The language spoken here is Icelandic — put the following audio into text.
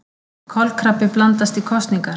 Kolkrabbi blandast í kosningar